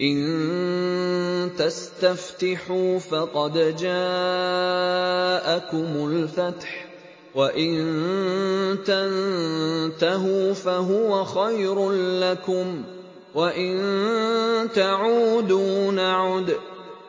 إِن تَسْتَفْتِحُوا فَقَدْ جَاءَكُمُ الْفَتْحُ ۖ وَإِن تَنتَهُوا فَهُوَ خَيْرٌ لَّكُمْ ۖ وَإِن تَعُودُوا نَعُدْ